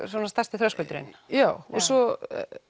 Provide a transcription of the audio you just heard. stærsti þröskuldurinn já og svo